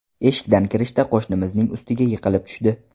Eshikdan kirishda qo‘shnimizning ustiga yiqilib tushdi.